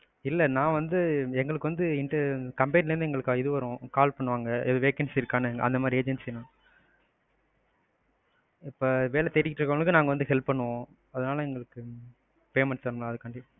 இல்ல நான் வந்து, எங்களுக்கு வந்து company ல இருந்து எங்களுக்கு இது வரும் call பண்ணுவாங்க. எதும் vacancy இருக்கானு அந்தமாதிரி agency தான். இப்ப வேலை தேடிட்டு இருக்குறவங்களுக்கு நாங்க வந்து help பண்ணுவோம். அதுனால எங்களுக்கு payment தரணும் அதுக்காண்டி.